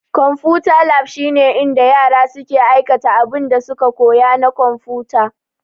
Konfuta lab shine inda yara suke aikata abinda suka koya na konfuta.